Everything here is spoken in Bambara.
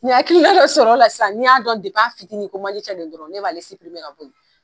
N ye hakilina dɔ sɔrɔa la sisan ni y'a dɔn a fitinin ko manje cɛ don dɔrɔn ne b'a ka bɔ yen